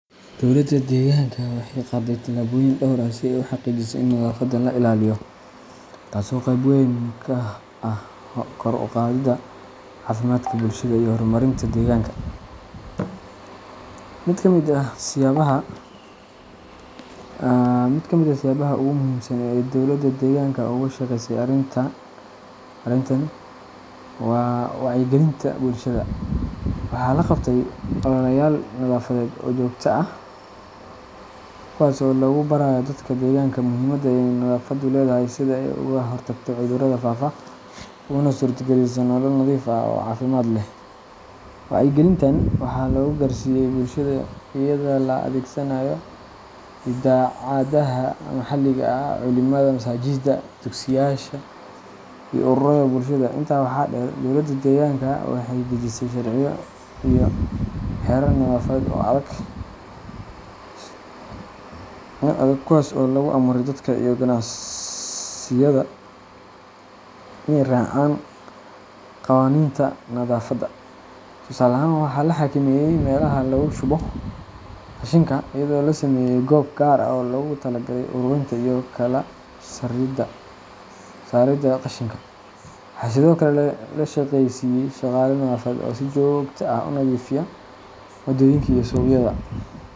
Dowladda deegaanka waxay qaadday tallaabooyin dhowr ah si ay u xaqiijiso in nadaafadda la ilaaliyo, taasoo qeyb weyn ka ah kor u qaadidda caafimaadka bulshada iyo horumarinta deegaanka. Mid ka mid ah siyaabaha ugu muhiimsan ee ay dowladda deegaanka uga shaqeysay arrintan waa wacyigelinta bulshada. Waxaa la qabtay ololeyaal nadaafadeed oo joogto ah, kuwaas oo lagu barayo dadka deegaanka muhiimadda ay nadaafaddu leedahay, sida ay uga hortagto cudurrada faafa, uguna suurtageliso nolol nadiif ah oo caafimaad leh. Wacyigelintan waxaa lagu gaarsiiyay bulshada iyadoo la adeegsanayo idaacadaha maxalliga ah, culimada masaajidda, dugsiyaasha, iyo ururada bulshada. Intaa waxaa dheer, dowladda deegaanka waxay dejisay sharciyo iyo xeerar nadaafadeed oo adag, kuwaas oo lagu amray dadka iyo ganacsiyada inay raacaan qawaaniinta nadaafadda. Tusaale ahaan, waxaa la xakameeyey meelaha lagu shubo qashinka iyadoo la sameeyay goob gaar ah oo loogu talagalay ururinta iyo kala saaridda qashinka. Waxaa sidoo kale la shaqaaleysiiyay shaqaale nadaafadeed oo si joogto ah u nadiifiya waddooyinka iyo suuqyada.